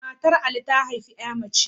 Matar Ali ta haifi ƴa mace